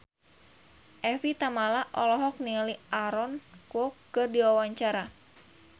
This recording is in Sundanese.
Evie Tamala olohok ningali Aaron Kwok keur diwawancara